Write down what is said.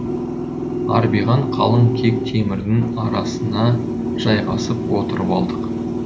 арбиған қалың кек темірдің арасына жайғасып отырып алдық